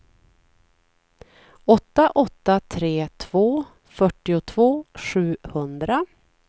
åtta åtta tre två fyrtiotvå sjuhundra